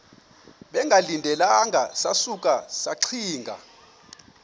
bengalindelanga sasuka saxinga